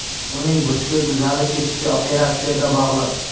Uning butkul tuzalib ketishi operatsiyaga bog‘liq.